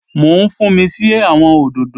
Mò ń fúnmi sí àwọn òdòdó